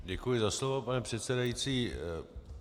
Děkuji za slovo, pane předsedající.